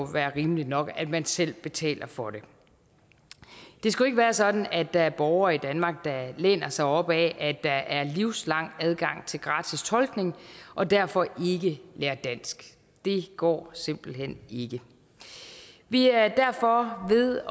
være rimeligt nok at man selv betaler for det det skal ikke være sådan at der er borgere i danmark der læner sig op ad at der er livslang adgang til gratis tolkning og derfor ikke lærer dansk det går simpelt hen ikke vi er derfor ved at